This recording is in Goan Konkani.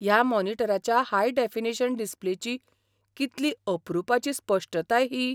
ह्या मॉनिटराच्या हाय डेफिनेशन डिस्प्लेची कितली अप्रुपाची स्पश्टताय ही!